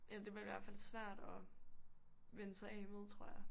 Eller det bliver i hvert fald svært at vænne sig af med tror jeg